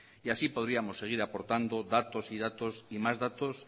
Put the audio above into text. t así podríamos seguir aportando datos y datos y más datos